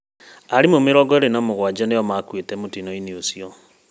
Aarimũ mĩrongo ĩĩrĩ na mũgwanja nĩo makuĩte mũtino-inĩ ũcio